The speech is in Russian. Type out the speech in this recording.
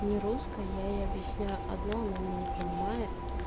нерусская я ей объясняю одно она меня не понимает